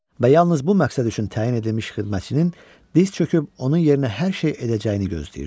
Və yalnız bu məqsəd üçün təyin edilmiş xidmətçinin diz çöküb onun yerinə hər şey edəcəyini gözləyirdi.